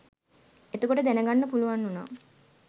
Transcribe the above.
එතකොට දැනගන්න පුළුවන් වුණා